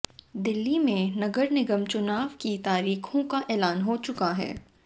दिल्ली में नगर निगम चुनाव की तारीखों का ऐलान हो चुका है